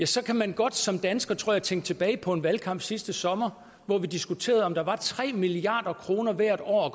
så kan man godt som dansker tror jeg tænke tilbage på en valgkamp sidste sommer hvor vi diskuterede om der var tre milliard kroner hvert år at